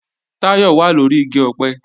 Táyọ̀ wà lóri igi ọ̀pẹ